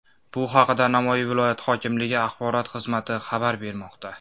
Bu haqda Navoiy viloyati hokimligi axborot xizmati xabar bermoqda .